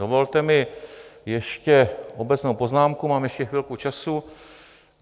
Dovolte mi ještě obecnou poznámku, mám ještě chvilku času.